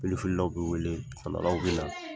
Pelu fililaw bɛ wele betɔndalaw bɛ na.